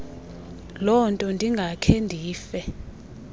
lonto ndingakhe ndife